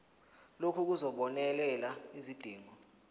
lokhu kuzobonelela izidingo